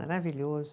Maravilhoso.